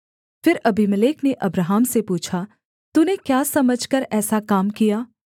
फिर अबीमेलेक ने अब्राहम से पूछा तूने क्या समझकर ऐसा काम किया